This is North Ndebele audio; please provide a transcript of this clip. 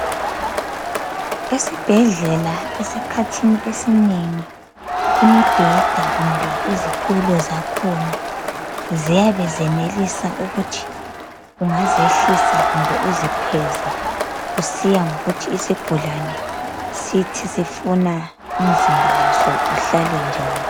Esibhedlela esikhathini esinengi. Imibheda kumbe izitulo zakhona ziyabe zenelisa ukuthi ungazehlisa kumbe uzikhweze kusiya ngokuthi isigulane sithi sifuna umzimba waso uhlale njani.